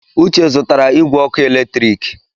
Uche zụtara igwe ọkụ eletrik.